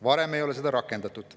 Varem ei ole seda rakendatud.